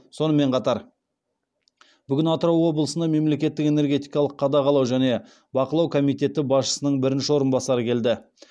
сонымен қатар бүгін атырау облысына мемлекеттік энергетикалық қадағалау және бақылау комитеті басшысының бірінші орынбасары келді